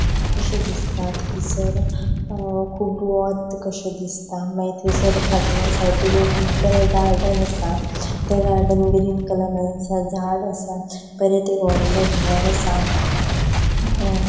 कशे दिसता. थंयसर अ खूब वोथ कशे दिसता मागीर थंयसर फाटल्यान साइडीक एक बरे गार्डन आसा ते गार्डन ग्रीन कलरान असा झाड असा परत एक व्हडले घर आसा अ--